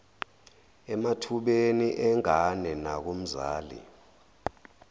emathubeni engane nakumzali